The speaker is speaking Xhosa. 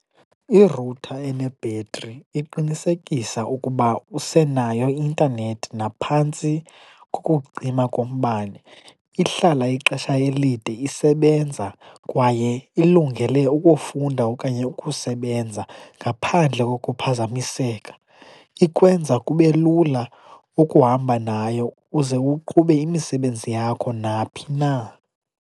Iruthta enebhetri iqinisekisa ukuba usenayo i-intanethi naphantsi kokucima kombane, ihlala ixesha elide isebenza kwaye ilungele ukufunda okanye ukusebenza ngaphandle kokuphazamiseka. Ikwenza kube lula ukuhamba nayo uze uqhube imisebenzi yakho naphi na.